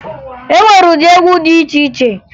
E nwere ụdị egwu dị iche iche